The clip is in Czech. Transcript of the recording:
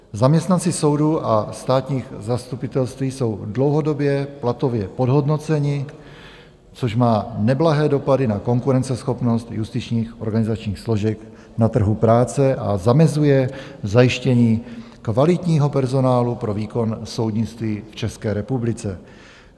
Zaměstnanci soudů a státních zastupitelství jsou dlouhodobě platově podhodnoceni, což má neblahé dopady na konkurenceschopnost justičních organizačních složek na trhu práce a zamezuje zajištění kvalitního personálu pro výkon soudnictví v České republice.